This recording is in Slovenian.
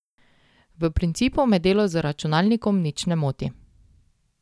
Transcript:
V principu me delo z računalnikom nič ne moti.